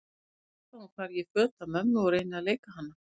Er það satt að hún fari í föt af mömmu og reyni að leika hana?